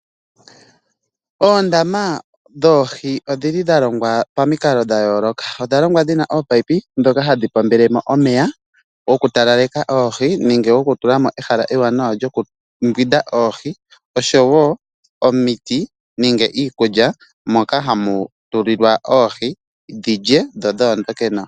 Oondama dhoohi odhili dhalongwa pamikalo dhayooloka. Odhalongwa dhina ominino ndhoka hadhi pombelemo omeya gokutalaleka oohi nenge gokutula mo ehala ewanawa lyokumbwinda oohi oshowo omiti nenge iikulya moka hamu tulilwa oohi dhilye dho dhoondoke nawa.